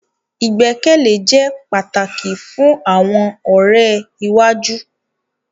Igbekele jẹ pataki fun awọn ọrẹ iwaju